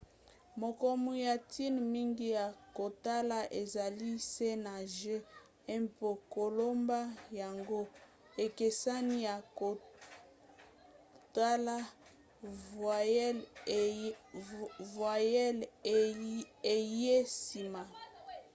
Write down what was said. makomi ya ntina mingi ya kotala ezali c na g mpo koloba yango ekeseni na kotala voyelle eyei nsima